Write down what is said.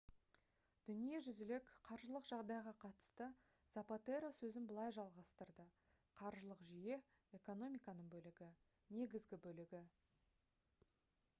дүниежүзілік қаржылық жағдайға қатысты запатеро сөзін былай жалғастырды: «қаржылық жүйе — экономиканың бөлігі негізгі бөлігі